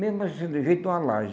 Mesmo assim, do jeito de uma laje.